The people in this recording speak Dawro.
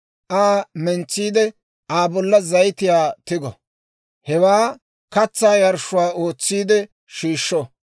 Aa mentsiide Aa bolla zayitiyaa tigo; hewaa katsaa yarshshuwaa ootsiide shiishsho.